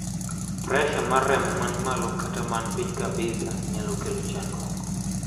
pressure mar remo man malo kata man piny kabisa nyalo chandruok